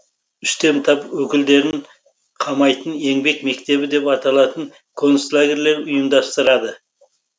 үстем тап өкілдерін қамайтын еңбек мектебі деп аталатын концлагерьлер ұйымдастырады